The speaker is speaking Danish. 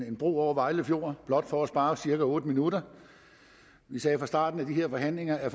en bro over vejle fjord blot for at spare cirka otte minutter vi sagde fra starten af de her forhandlinger at